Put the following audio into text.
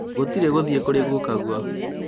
gũtirĩ gũthiĩ kũrĩ gukaguo